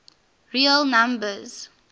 real numbers